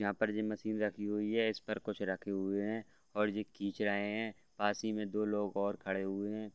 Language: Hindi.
यहाँ पर जीम मशीन रखी हुई है इस पर कुछ रखे हुए है और ये खींच रहे है पास में ही दो लोग और खड़े हुए है |